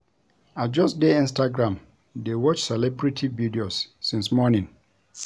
I just dey Instagram dey watch celebrity videos since morning